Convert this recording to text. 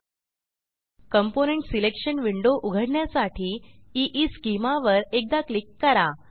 component selection window उघडण्यासाठी schema वर एकदा क्लिक करा